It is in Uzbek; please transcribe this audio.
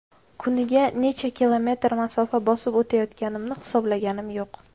Kuniga necha kilometr masofa bosib o‘tayotganimni hisoblaganim yo‘q.